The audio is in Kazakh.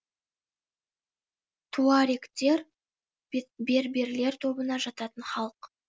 туарегтер берберлер тобына жататын халық